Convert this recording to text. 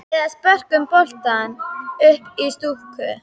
Eða spörkum boltanum upp í stúku?